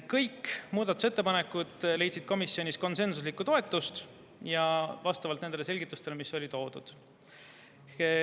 Kõik muudatusettepanekud leidsid komisjonis konsensusliku toetuse vastavalt nendele selgitustele, mis olid toodud.